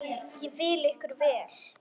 Ég vil ykkur vel.